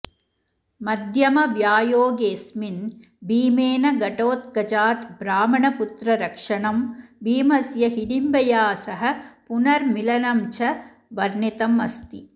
मध्यमव्यायोगेस्मिन् भीमेन घटोत्कचाद् ब्राह्मणपुत्ररक्षणं भीमस्य हिडिम्बया सह पुनर्मिलनञ्च वर्णितमस्ति